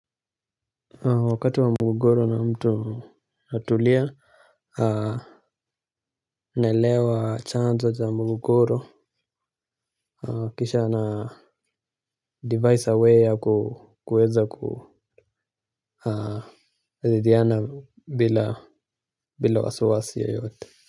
Wakati wa mgogoro na mtu natulia, naelewa chanzo za mgogoro, kisha na device way ya kuweza kujadiliana bila wasi wasi yoyote.